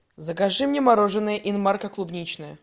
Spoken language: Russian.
закажи мне мороженое инмарко клубничное